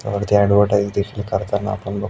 इथे ॲडव्हर्टाइज देखील करताना आपण बघ--